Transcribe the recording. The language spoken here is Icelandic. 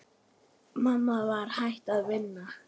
Mamma var hætt að vinna.